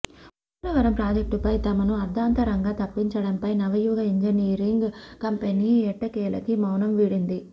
పోలవరం ప్రాజెక్టుపై తమను అర్ధాంతరంగా తప్పించడంపై నవయుగ ఇంజనీరింగ్ కంపెనీ ఎట్టకేలకి మౌనం వీడింది